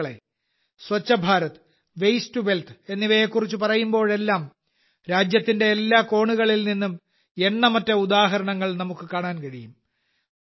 സുഹൃത്തുക്കളേ Swachh Bharat waste to wealth എന്നിവയെ കുറിച്ച് പറയുമ്പോഴെല്ലാം രാജ്യത്തിന്റെ എല്ലാ കോണുകളിൽ നിന്നും എണ്ണമറ്റ ഉദാഹരണങ്ങൾ നമുക്ക് കാണാൻ കഴിയും